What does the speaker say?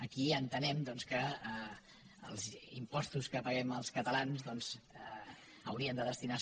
aquí entenem doncs que els impostos que paguem els catalans doncs haurien de destinar se